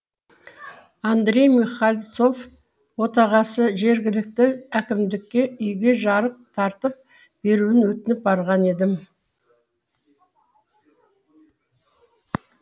андрей михальцов отағасы жергілікті әкімдікке үйге жарық тартып беруін өтініп барған едім